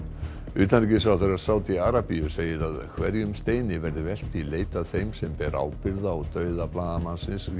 utanríkisráðherra Sádi Arabíu segir að hverjum steini verði velt í leit að þeim sem ber ábyrgð á dauða blaðamannsins